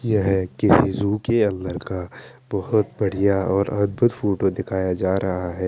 यह किसी जू के अंदर का बहुत बढ़िया और अद्भुत फोटो दिखाया जा रहा है।